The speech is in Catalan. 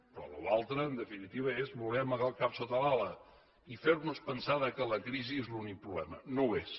però allò altre en definitiva és voler amagar el cap sota l’ala i fer nos pensar que la crisi és l’únic problema no ho és